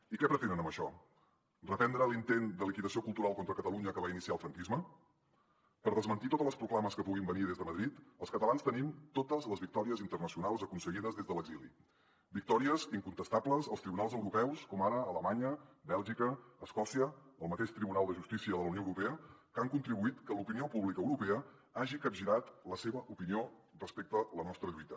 i què pretenen amb això reprendre l’intent de liquidació cultural contra catalunya que va iniciar el franquisme per desmentir totes les proclames que puguin venir des de madrid els catalans tenim totes les victòries internacionals aconseguides des de l’exili victòries incontestables als tribunals europeus com ara alemanya bèlgica escòcia el mateix tribunal de justícia de la unió europea que han contribuït que l’opinió pública europea hagi capgirat la seva opinió respecte a la nostra lluita